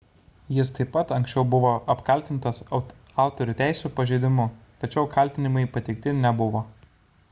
jis taip pat anksčiau buvo apkaltintas autorių teisių pažeidimu tačiau kaltinimai pateikti nebuvo